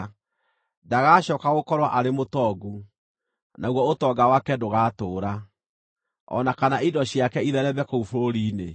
Ndagacooka gũkorwo arĩ mũtongu, naguo ũtonga wake ndũgatũũra, o na kana indo ciake itheereme kũu bũrũri-inĩ.